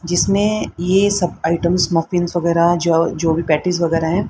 जिसमें ये सब आइटम वगैरह जो भी पेटिस वगैरह हैं।